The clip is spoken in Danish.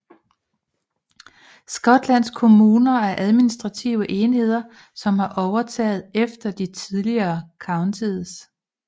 Skotlands kommuner er administrative enheder som har overtaget efter de tidligere counties